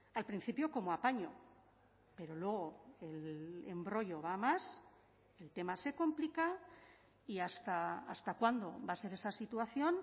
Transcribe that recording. al principio como apaño pero luego el embrollo va a más el tema se complica y hasta cuándo va a ser esa situación